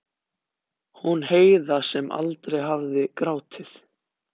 Hún Heiða sem aldrei hafði grátið.